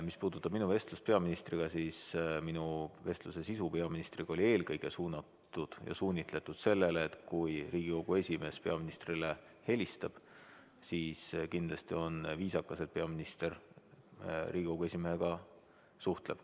Mis puudutab minu vestlust peaministriga, siis minu vestluse sisu peaministriga oli eelkõige suunatud sellele, et kui Riigikogu esimees peaministrile helistab, siis kindlasti on viisakas, et peaminister Riigikogu esimehega suhtleb.